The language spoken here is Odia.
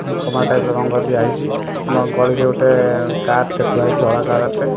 କମଳା ଟାଇପ ର ରଙ୍ଗ ଦିଆହେଇଛି। ନୂଆ ଗଳିରେ ଗୋଟେ କାର ଟେ ଥୁଆହୋଇଛି ଧଳା କାର ଟେ।